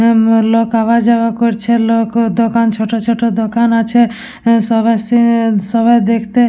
গ্রামের লোক আওয়া যাওয়া করছে লোক ও দোকান ছোট ছোট দোকান আছে অ্যা সব আসসে অ্যা সবাই দেখতে।